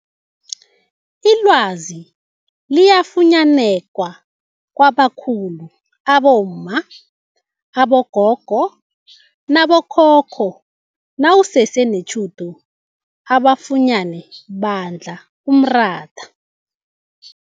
Ilwazi liyafunyaneka kwabakhulu abomma, abogogo nabokhokho nawusese netjhudu ubafunyene badla umratha.